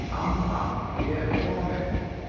Amma ég er komin